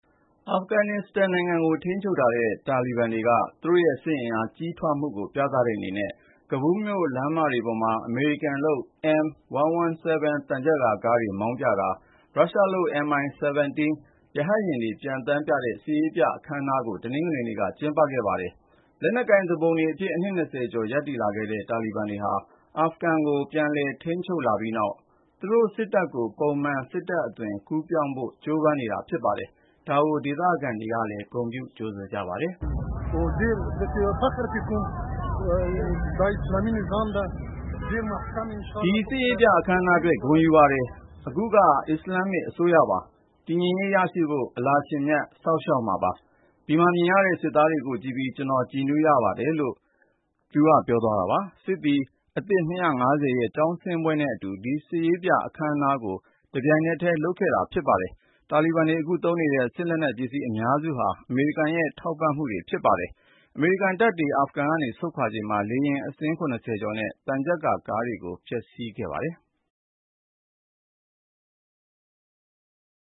အာဖဂန်နစ္စတန်နိုင်ငံကို ထိန်းချုပ်ထားတဲ့ တာလီဘန်တပ်ဖွဲ့တွေက သူတို့ရဲ့ စစ်အင်အား ကြီးထွားလာမှုကို ပြသတဲ့အနေနဲ့ ကဘူးလ်မြို့ လမ်းမတွေပေါ်မှာ အမေရိကန်လုပ် M117 သံချပ်ကာကားတွေ မောင်းပြတာ၊ ရုရှားလုပ် MI-17 ရဟတ်ယာဉ်တွေ ပျံသန်းပြရင်း စစ်ရေးပြအခမ်းအနားတရပ်ကို တနင်္ဂနွေနေ့က ကျင်းပခဲ့ကြပါတယ်။ လက်နက်ကိုင် သောင်းကျန်းသူတွေအဖြစ် ဆယ်စုနှစ် ၂ ခုကျော် ရပ်တည်လာခဲ့တဲ့ တာလီဘန်တွေဟာ ပြီးခဲ့တဲ့ သြဂုတ်လထဲ အာဖဂန်ကို ပြန်လည်သိမ်းပိုက် ထိန်းချုပ်လာပြီးနောက် သူတို့စစ်တပ်ကို ပုံမှန်စစ်တပ်အသွင် ကူးပြောင်းရပ်တည်ဖို့ ကြိုးပမ်းနေတာပါ။ ဒီလို စစ်ရေးပြအခမ်းအနားအတွက် ဂုဏ်ယူတယ်လို့ ဒေသခံ Sardar Mohammad က ပြောပါတယ်။ “ဒီ စစ်ရေးပြအခမ်းအနားအတွက် ဂုဏ်ယူပါတယ်။ ဒါက အစ္စလာမ္မစ် အစိုးရပါ။ တည်ငြိမ်အေးချမ်းအောင် အလ္လာဟ်ရှင်မြတ် စောင့်ရှောက်မှာပါ။ ဒီမှာမြင်ရတဲ့ စစ်သည်တွေက ကျနော့်သား အရွယ်တွေပါ။ သူတို့ကိုကြည့်ပြီး ကျနော် ကြည်နူးရပါတယ်။” လို့ ပြောသွားတာပါ။ စစ်သည်အသစ် ၂၅၀ ရဲ့ ကျောင်းဆင်းပွဲနဲ့အတူ ဒီစစ်ရေးပြအခမ်အနားကိုပါ တပြိုင်နက်တည်း လုပ်တာပါလို့ ကာကွယ်ရေးဝန်ကြီးဌာန ပြောခွင့်ရသူက Reuters ကို ပြောပါတယ်။ တာလီဘန်တွေ အခုသုံးနေတဲ့ စစ်လက်နက်နဲ့ အသုံးအဆောင်ပစ္စည်း အများစုဟာ အရင် အာဖဂန်အစိုးရကို အမေရိကန်က ထောက်ပံ့ကူညီပေးခဲ့တာတွေ ဖြစ်ပါတယ်။ ၂၀၂၁ စက်တင်ဘာလဆန်း နောက်ဆုံးထားပြီး အမေရိကန်တပ်တွေ အာဖဂန်က ဆုတ်ခွာသွားချိန်မှာ လေယာဉ်အစီး ၇၀ ကျော်နဲ့ ဒါဇင်နဲ့ချီတဲ့ သံချပ်ကာကားတွေကို ဖျက်ဆီးသွားခဲ့ပါတယ်။